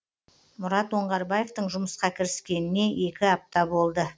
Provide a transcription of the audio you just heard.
мұрат оңғарбаевтың жұмысқа кіріскеніне екі апта болды